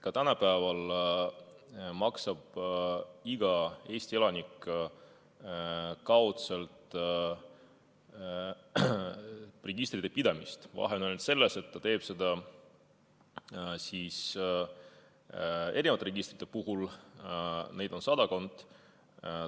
Ka praegu maksab iga Eesti elanik registrite pidamise kaudselt kinni, vahe on ainult selles, et ta maksab mitme registri eest, neid on sadakond.